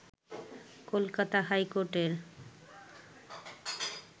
কলকাতা হাইকোর্টের